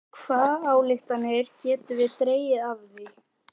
Hvaða ályktanir getum við dregið af því?